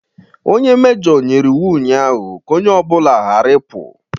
Onye mejoo nyere iwu ụnyaahụ ka ọnye obula ghara ịpụ!